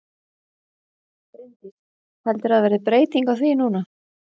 Bryndís: Heldurðu að það verði breyting á því núna?